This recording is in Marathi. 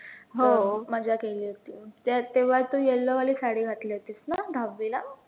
हो मजा केली होती, त्यात तेव्हा तु yellow वाली साडी घातली होतीस ना दहावीला